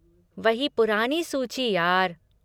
वही पुरानी सूची, यार।